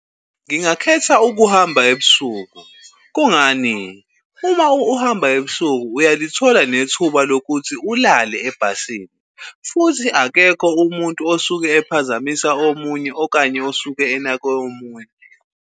Ngingakhetha ukuhamba ebusuku. Kungani? Uma uhamba ebusuku uyalithola nethuba lokuthi ulale ebhasini futhi akekho umuntu osuke ephazamisa omunye okanye osuke enake omunye.